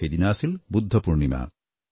সেইদিনা আছিল বুদ্ধ পূৰ্ণিমা